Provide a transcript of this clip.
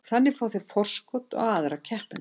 Þannig fá þeir forskot á aðra keppendur.